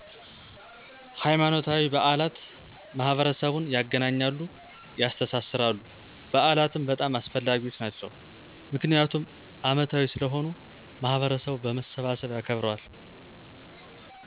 ሀይማኖታዊ በዓላት ማህበረሰቡን ያገናኛሉ፣ ያስተሳስራሉ። በዓላትም በጣም አስፈላጊዎች ናቸው ምክንያቱም አመታዊ ስለሆኑ ማህበረሰቡ በመሰብሰብ ያከብረዋል።